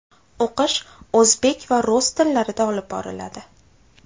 O‘qish o‘zbek va rus tillarida olib boriladi.